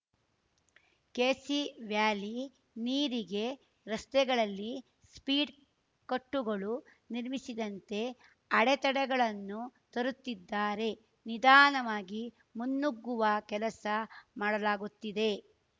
KC valley ನೀರಿಗೆ ರಸ್ತೆಗಳಲ್ಲಿ speed ಕಟ್ಟುಗಳು ನಿರ್ಮಿಸಿದಂತೆ ಅಡೆತಡೆಗಳನ್ನು ತರುತ್ತಿದ್ದಾರೆ ನಿಧಾನವಾಗಿ ಮುನ್ನುಗುವ ಕೆಲಸ ಮಾಡಲಾಗುತ್ತಿದೆ